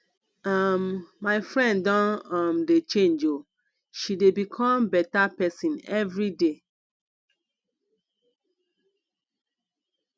um my friend don um dey change o she dey become beta pesin everyday